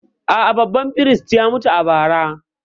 A’a, babban firist ya mutu a bara.